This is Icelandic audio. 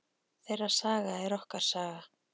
Þeirra saga er okkar saga.